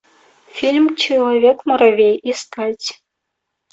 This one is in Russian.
фильм человек муравей искать